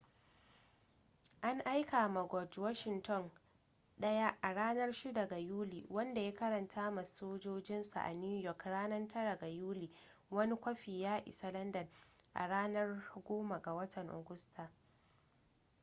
an aika ma george washington ɗaya a ranar 6 ga yuli wanda ya karanta ma sojojinsa a new york ranar 9 ga yuli wani kwafi ya isa landan a ranar 10 ga watan agusta